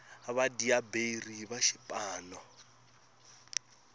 vadyaberi va swipano